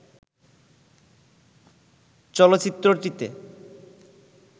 চলচ্চিত্রটিতে